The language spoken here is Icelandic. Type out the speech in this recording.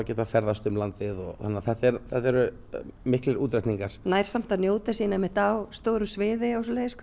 geta ferðast um landið þannig að þetta eru miklir útreikningar nær samt að njóta sín á stóru sviði